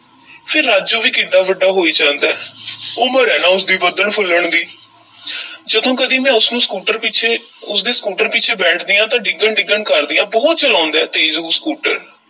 ਫੇਰ ਰਾਜੂ ਵੀ ਕਿੱਡਾ ਵੱਡਾ ਹੋਈ ਜਾਂਦਾ ਏ ਉਮਰ ਏ ਨਾ ਉਸ ਦੀ ਵਧਣ-ਫੁੱਲਣ ਦੀ ਜਦੋਂ ਕਦੀ ਮੈਂ ਉਸਨੂੰ ਸਕੂਟਰ ਪਿੱਛੇ ਉਸ ਦੇ ਸਕੂਟਰ ਪਿੱਛੇ ਬੈਠਦੀ ਆਂ ਤਾਂ ਡਿੱਗਣ-ਡਿੱਗਣ ਕਰਦੀ ਆਂ, ਬਹੁਤ ਚਲਾਉਂਦਾ ਹੈ ਤੇਜ ਉਹ ਸਕੂਟਰ।